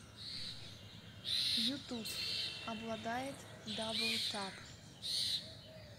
ютуб обладает дабл тап